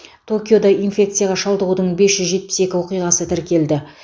токиода инфекцияға шалдығудың бес жүз жетпіс екі оқиғасы тіркелді